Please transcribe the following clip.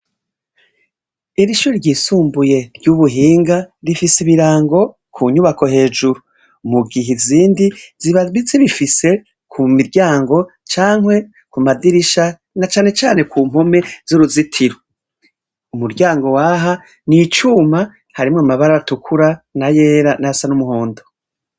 Irishure ryisumbuye ry'ubuhinga rifise ibirango kunyubako hejuru, mugihe izindi zibabitse zifise kumiryango cankwe kumadirisha na cane cane Ku mpome z'uruzitiro, umuryango w'aha n'icuma harimwo amabara atukura n'ayera nayasa n'umuhondo.